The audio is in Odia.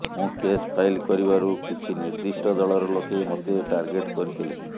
ମୁଁ କେସ ଫାଇଲ କରିବାରୁ କିଛି ନିର୍ଦ୍ଧିଷ୍ଟ ଦଳର ଲୋକେ ମୋତେ ଟାର୍ଗେଟ କରିଥିଲେ